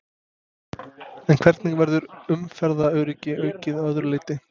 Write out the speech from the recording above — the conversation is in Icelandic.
En hvernig verður umferðaröryggi aukið að öðru leyti?